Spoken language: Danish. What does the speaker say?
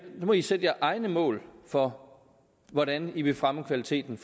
nu må i sætte jeres egne mål for hvordan i vil fremme kvaliteten